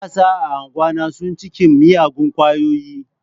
Matasa a anguwana sun cikin miyagun kwayoyi.